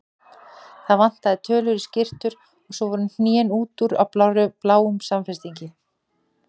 Það vantaði tölur í skyrtur og svo voru hnén út úr á bláum samfestingi.